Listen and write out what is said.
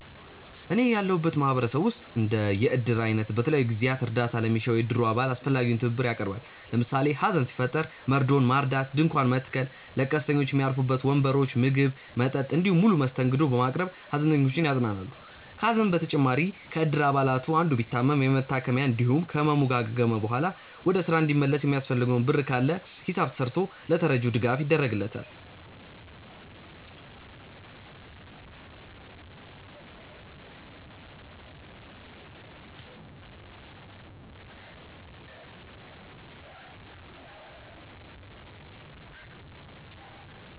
እኔ ያለሁበት ማህበረሰብ ውስጥ እንደ የእድር አይነቱ በተለያዩ ጊዜያት እርዳታ ለሚሻው የእድሩ አባል አስፈላጊውን ትብብር ያቀርባል። ለምሳሌ ሀዘን ሲፈጠር መርዶውን ማርዳት፣ ድንኳን መትከል፣ ለቀስተኞች ሚያርፉበት ወንበሮች፣ ምግብ፣ መጠጥ እንዲሁም ሙሉ መስተንግዶ በማቅረብ ሃዘንተኞችን ያጽናናሉ። ከሀዘን በተጨማሪም ከእድር አባላቱ አንዱ ቢታመም የመታከሚያ እንዲሁም ከህመሙ ካገገመ በኋላ ወደ ስራ እንዲመለስ የሚያስፈልገው ብር ካለ ሂሳብ ተስርቶ ለተረጂው ድጋፍ ይደረግለታል።